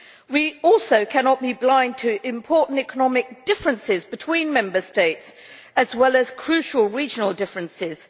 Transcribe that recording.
We also cannot be blind to important economic differences between Member States, as well as crucial regional differences.